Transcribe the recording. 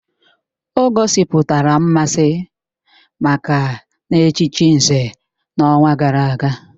O gosipụtara mmasị maka na-echichi Nze n'ọnwa gara aga